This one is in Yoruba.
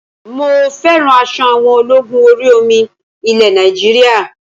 Mo fẹ́ràn aṣọ àwọn ológun orí omi ilẹ̀ Nàìjíríà